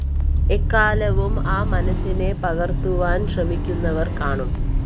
എക്കാലവും ആ മനസ്സിനെ പകര്‍ത്തുവാന്‍ശ്രമിക്കുന്നവര്‍കാണും